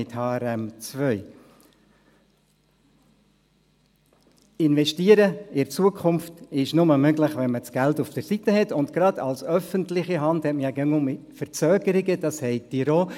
In die Zukunft zu investieren, ist nur möglich, wenn man das Geld auf der Seite hat, und gerade als öffentliche Hand hat man immer wieder Verzögerungen, diese kennen Sie auch.